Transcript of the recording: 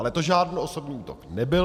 Ale to žádný osobní útok nebyl.